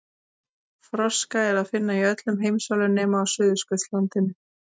Froska er að finna í öllum heimsálfunum nema á Suðurskautslandinu.